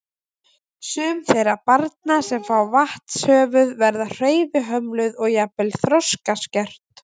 Sum þeirra barna sem fá vatnshöfuð verða hreyfihömluð og jafnvel þroskaskert.